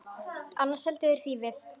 Annars seldu þeir þýfið.